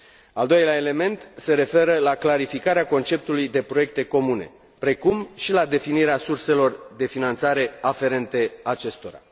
Al doilea element se referă la clarificarea conceptului de proiecte comune, precum și la definirea surselor de finanțare aferente acestora.